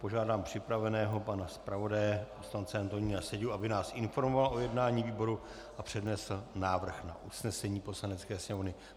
Požádám připraveného pana zpravodaje poslance Antonína Seďu, aby nás informoval o jednání výboru a přednesl návrh na usnesení Poslanecké sněmovny.